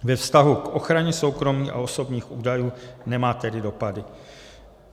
Ve vztahu k ochraně soukromí a osobních údajů nemá tedy dopady.